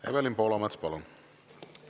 Evelin Poolamets, palun!